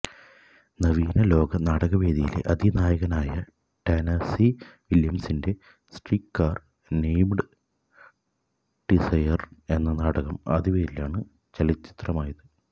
നവീന ലോക നാടകവേദിയിലെ അതികായനായ ടെന്നസി വില്യംസിന്റെ സ്ട്രീറ്റ്കാര് നെയ്മ്ഡ് ഡിസയര് എന്ന നാടകം അതേപേരിലാണ് ചലച്ചിത്രമായത്